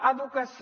educació